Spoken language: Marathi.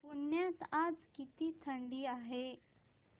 पुण्यात आज किती थंडी आहे